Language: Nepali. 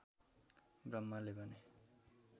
ब्रह्माले भने